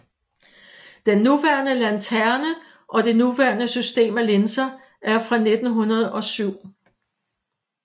Den nuværende lanterne og det nuværende system af linser er fra 1907